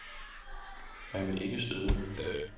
Man vil ikke støde nogen.